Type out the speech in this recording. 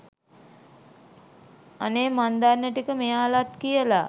අනේ මං දන්න ටික මෙයාලත් කියලා